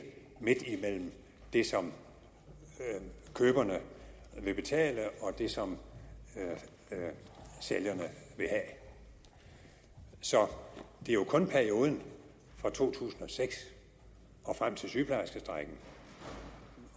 midt imellem det som køberne vil betale og det som sælgerne vil have så det er jo kun perioden fra to tusind og seks og frem til sygeplejerskestrejken